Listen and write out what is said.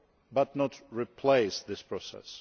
but not replace this process.